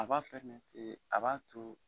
A b'a a b'a to